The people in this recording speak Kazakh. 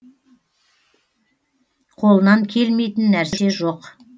қолынан келмейтін нәрсе жоқ